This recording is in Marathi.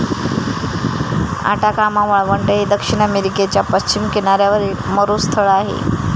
अटाकामा वाळवंट हे दक्षिण अमेरिकेच्या पश्चिम किनाऱ्यावरील मरुस्थळ आहे.